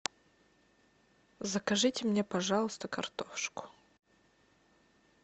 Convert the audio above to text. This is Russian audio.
закажите мне пожалуйста картошку